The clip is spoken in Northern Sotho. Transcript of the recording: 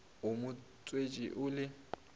o mo tswetše o le